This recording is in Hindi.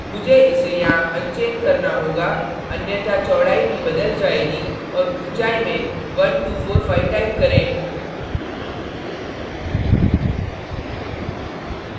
मुझे इसे यहाँ unchain करना होगा अन्यथा चौड़ाई भी बदल जाएगी और ऊँचाई में 1245 type करें